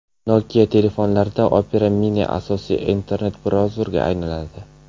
Nokia telefonlarida Opera Mini asosiy internet-brauzerga aylanadi.